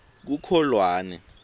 kukholwane